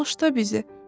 Bağışla bizi.